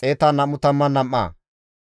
Pashkure zereththati 1,247,